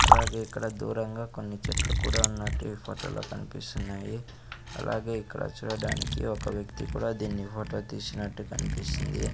అలాగే ఇక్కడ దూరంగా కొన్ని చెట్లు కూడా ఉన్నట్టు ఈ ఫోటోలో కన్పిస్తున్నాయి అలాగే ఇక్కడ చూడడానికి ఒక వ్యక్తి కూడా దీన్ని ఫోటో తీసినట్టు కన్పిస్తుంది.